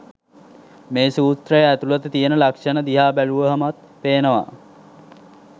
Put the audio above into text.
මේ සූත්‍රයේ ඇතුළත තියෙන ලක්ෂණ දිහා බැලුවහමත් පේනවා